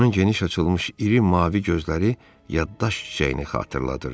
Onun geniş açılmış iri mavi gözləri yaddaş çiçəyini xatırladırdı.